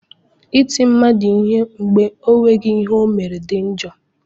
I kụ mmadụ ihe mgbe ọ nweghị ihe ọ mere dị njọ.